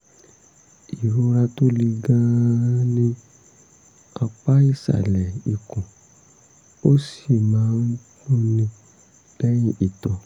ìrora tó le gan-an ní apá ìsàlẹ̀ ikùn ó sì máa ń dùnni lẹ́yìn ìtọ̀